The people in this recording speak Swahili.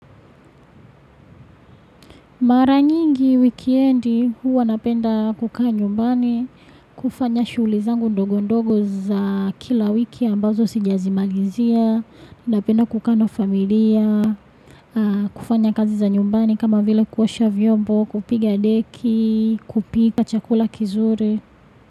Mara nyingi wikiendi huwa napenda kukaa nyumbani, kufanya shughuli zangu ndogo ndogo za kila wiki ambazo sijazimalizia, napenda kukaa na familia, kufanya kazi za nyumbani kama vile kuosha vyombo, kupiga deki, kupika chakula kizuri.